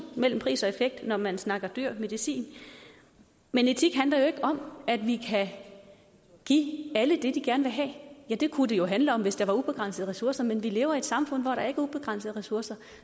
mellem pris og effekt når man snakker dyr medicin men etik handler jo ikke om at vi kan give alle det de gerne vil have ja det kunne det jo handle om hvis der var ubegrænsede ressourcer men vi lever i et samfund hvor der ikke er ubegrænsede ressourcer